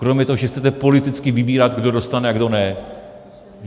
Kromě toho, že chcete politicky vybírat, kdo dostane a kdo ne.